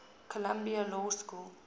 columbia law school